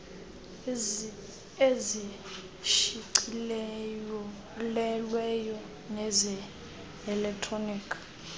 ezishicilelweyo neze elektroni